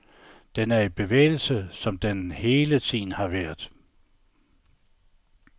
Den er i bevægelse, som den hele tiden har været.